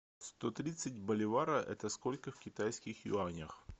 сто тридцать боливара это сколько в китайских юанях